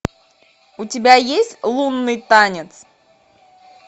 у тебя есть лунный танец